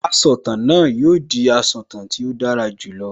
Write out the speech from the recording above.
Asọ̀tàn náà yóò di asọ̀tàn tí ó dára jù lọ